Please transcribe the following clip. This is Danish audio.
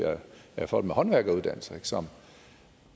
af folk med håndværkeruddannelse som